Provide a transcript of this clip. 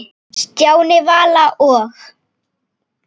Stjáni, Vala og